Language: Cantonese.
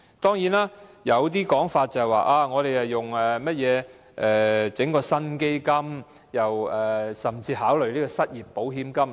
當然，有說法指，當局會成立一個新基金，甚至考慮以失業保險金作替代。